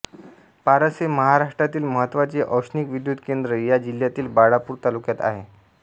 पारस हे महाराष्ट्रातील महत्त्वाचे औष्णिक विद्युत केंद्र या जिल्ह्यातील बाळापूर तालुक्यात आहे